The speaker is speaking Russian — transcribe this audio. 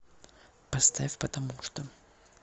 поставь потомучто